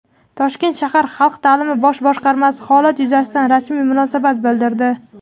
Toshkent shahar Xalq ta’limi bosh boshqarmasi holat yuzasidan rasmiy munosabat bildirdi.